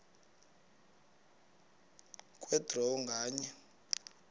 kwe draw nganye